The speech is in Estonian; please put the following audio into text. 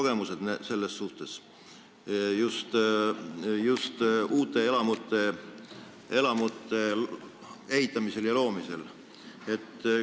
Nendel on selles suhtes pikaajaline kogemus, just uute elamute ehitamisel ja loomisel.